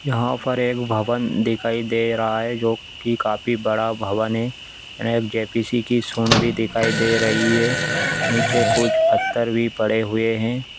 यहाँ पर एक भवन दिखाई दे रहा है जो की काफी बड़ा भवन है यहाँ एक जे.पी.सी की सूँढ भी दिखाई दे रही है नीचे कूछ पत्थर भी पड़े हुए हैं।